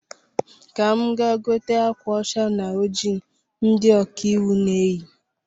Ka m gaa gote akwa ȯcha na oji ndi ọkaiwu na-eyi